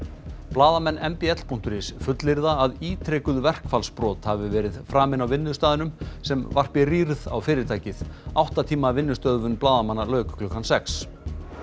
blaðamenn Mbl punktur is fullyrða að ítrekuð verkfallsbrot hafi verið framin á vinnustaðnum sem varpi rýrð á fyrirtækið átta tíma vinnustöðvun blaðamanna lauk klukkan sex